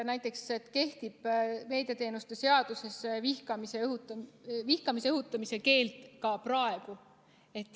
Näiteks kehtib meediateenuste seaduses vihkamisele õhutamise keeld ka praegu.